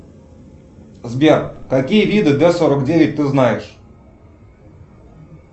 сбер какие виды дэ сорок девять ты знаешь